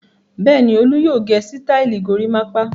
Bẹ́ẹ̀ ni, Olú yóò gẹ sítáálì gorímápá.